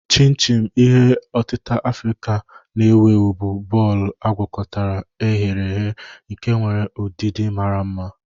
Chin-chin, ihe otita Afrịka na-ewu ewu, bụ bọọlụ agwakotara e ghere eghe nke nwere udidi mara mma.